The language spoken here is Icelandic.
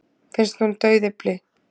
Finnst hún dauðyfli.